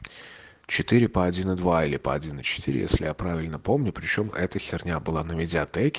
четыре по один и два или по один и четыре если я правильно помню при чём эта херня была на медиатеке